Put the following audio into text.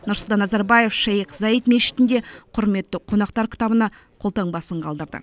нұрсұлтан назарбаев шейх заид мешітінде құрметті қонақтар кітабына қолтаңбасын қалдырды